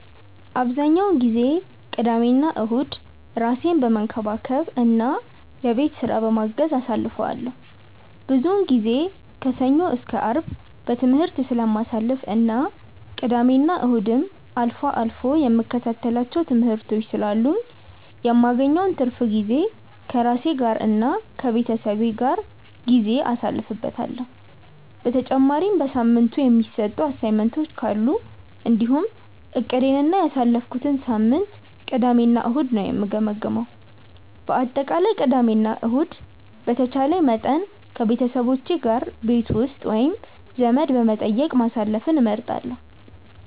አብዛኛውን ጊዜ ቅዳሜና እሁድን ራሴን በመንከባከብ እና የቤት ስራ በማገዝ አሳልፈዋለሁ። ብዙውን ጊዜ ከሰኞ እስከ አርብ በትምህርት ስለማሳልፍ እና ቅዳሜና እሁድም አልፎ አልፎ የምከታተላቸው ትምህርቶች ስላሉኝ የማገኘውን ትርፍ ጊዜ ከራሴ ጋር እና ከቤተሰቤ ጋር ጊዜ አሳልፍበታለሁ። በተጨማሪም በሳምንቱ የተሰጡ አሳይመንቶች ካሉ እንዲሁም እቅዴን እና ያሳለፍኩትን ሳምንት ቅዳሜ እና እሁድ ነው የምገመግመው። በአጠቃላይ ቅዳሜ እና ከእሁድ በተቻለኝ መጠን ከቤተሰቦቼ ጋር ቤት ውስጥ ወይም ዘመድ በመጠየቅ ማሳለፍን እመርጣለሁ።